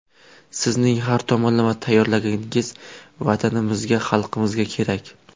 Sizning har tomonlama tayyorgarligingiz Vatanimizga, xalqimizga kerak.